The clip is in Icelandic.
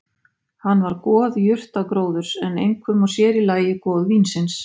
Hann var goð jurtagróðurs en einkum og sér í lagi goð vínsins.